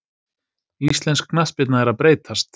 Íslensk knattspyrna er að breytast.